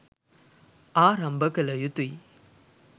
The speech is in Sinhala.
ආරම්භ කළ යුතුයි.